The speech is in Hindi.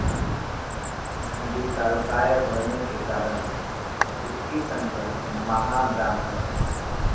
विशालकाय होने के कारण इसकी संज्ञा महाब्राह्मण है